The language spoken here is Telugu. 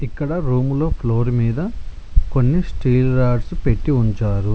ఇక్కడ రూములో ఫ్లోర్ మీద కొన్ని స్టీల్ రాడ్స్ పెట్టి ఉంచారు.